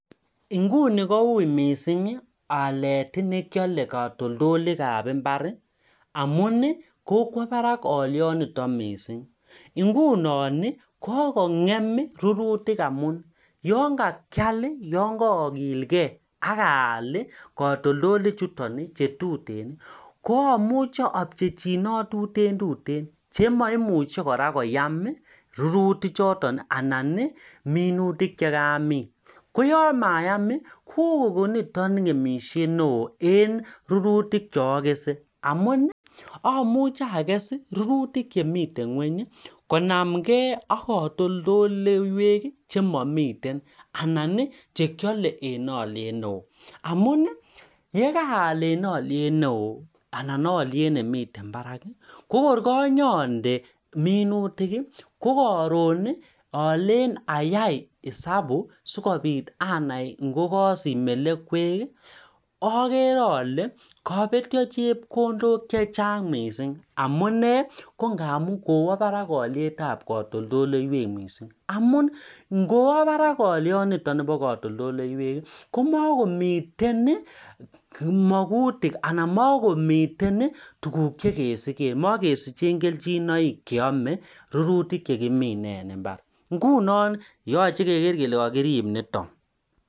nguni kouii mising alet nekiole katoldolikab mbari amuni kokwo barak olionito mising ngunoni kokongem rurutik amuni yookakial yoon kookilkee akakaal katoldolichutoni chetuteni koamuche apchechinot tuten tuten chemoimuche kora koyam ruruti chotoni anani minutik chekamin koyomayami koo ko nitok ngemisiet neeoo en rurutik cheokese amuni amuche akesi rurutikchemiten ngwenyi konamkee ak katoldoiweki chemomiteni anani chekiole en oliet neoo amuni yekaal en oliet neoo anan oliet nemiten baraki kokoryonyonde minutiki kokoroni alen ayai esabu sikopit anai ngokosich melekweki akere ole kobetio chepkondok chechang mising amunee kongamun kowo barak olietab katoldoloiwek mising amun ngowo barak oilionitok bo katoldoloiweki komokomiten makutik ana makomiten tuguk chekesiken makesichen kelchin cheome rurutik chekimen en mbar ngunon yoche keker kele kokirib nitok